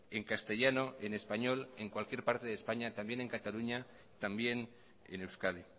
en castellano en español en cualquier parte de españa también en cataluña también en euskadi